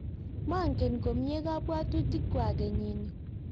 mangen komye kabwotutikwak kenyini